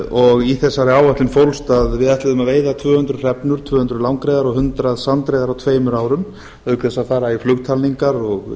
og í þessari áætlun fólst að við ætluðum að veiða tvö hundruð hrefnur tvö hundruð langreyðar og hundrað sandreyðar á tveimur árum auk þess að fara í flugtalningar og